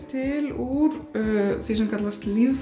til úr því sem kallast